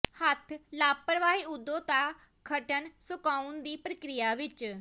ਹੱਥ ਲਾਪਰਵਾਹੀ ਓਦੋ ਦਾ ਗਠਨ ਸੁਕਾਉਣ ਦੀ ਪ੍ਰਕਿਰਿਆ ਵਿਚ